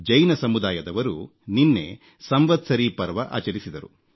ಜೈನ ಸಮುದಾಯದವರು ನಿನ್ನೆ ಸಂವತ್ಸರೀ ಪರ್ವ ಆಚರಿಸಿದರು